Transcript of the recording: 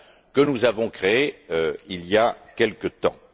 que nous avons créés il y a quelque temps.